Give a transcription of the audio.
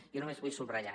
jo només vull subratllar